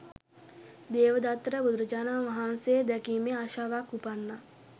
දේවදත්තට බුදුරජාණන් වහන්සේ දැකීමේ ආශාවක් උපන්නා.